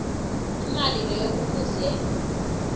imali leyo kufuze